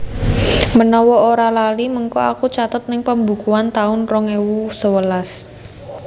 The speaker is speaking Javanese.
Menawa ora lali mengko aku catet ning pembukuan taun rong ewu sewelas